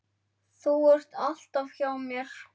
Þú ert alltaf hjá mér.